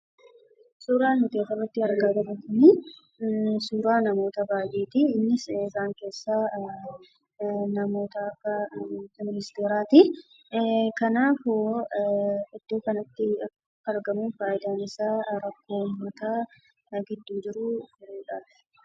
Suuraan nuti asirratti argaa jirru kun, suuraa namoota baay'eeti. Innis isaan keessaa namoota akka ministeeraati. Kanaaf iddoo kanatti kan argamu fayidaan isaa rakkoo uummata gidduu jiru furuudhaafi.